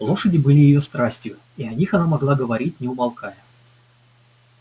лошади были её страстью и о них она могла говорить не умолкая